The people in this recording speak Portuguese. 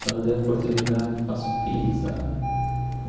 Quando tem oportunidade, faço pizza.